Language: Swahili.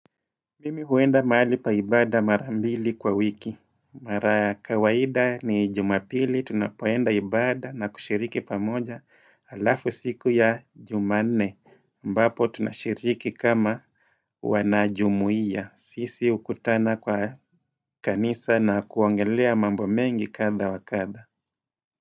Mimi huenda mahali pa ibada marambili kwa wiki Mara kawaida ni jumapili tunapoenda ibada na kushiriki pamoja alafu siku ya jumanne ambapo tunashiriki kama Wanajumuia sisi hukutana kwa kanisa na kuongelea mambo mengi kadha wa kadha.